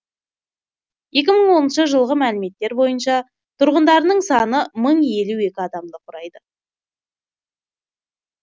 екі мың оныншы жылғы мәліметтер бойынша тұрғындарының саны мың елу екі адамды құрайды